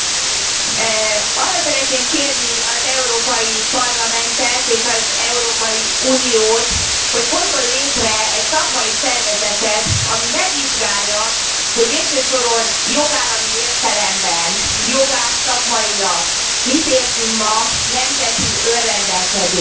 Elnök Asszony, arra szeretném kérni az Európai Parlamentet és az Európai Uniót, hogy hozzon létre egy szakmai szervezetet, amely megvizsgálja, hogy végső soron jogállami értelemben, jogászszakmailag mit értünk ma nemzeti önrendelkezésen.